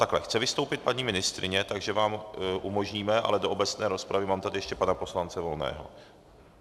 Takhle, chce vystoupit paní ministryně, takže vám umožníme, ale do obecné rozpravy tady mám ještě pana poslance Volného.